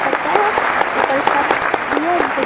पता है ऊपर छत भी है जिसे --